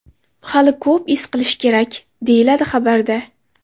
Hali ko‘p iz hosil qilish kerak”, deyiladi xabarda.